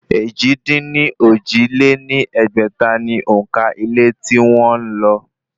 Èje-dín-ní-ojì lé ní ẹgbẹ́ta ni òǹkà ilé tí wọn ń lọ